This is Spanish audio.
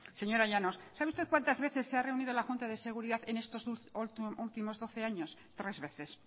señora llanos sabe usted cuántas veces se ha reunido la junta de seguridad en estos últimos doce años tres veces